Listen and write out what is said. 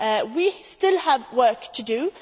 We still have work to do.